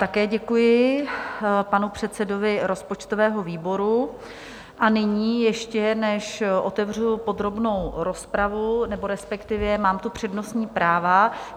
Také děkuji panu předsedovi rozpočtového výboru a nyní, ještě než otevřu podrobnou rozpravu, nebo respektive, mám tu přednostní práva.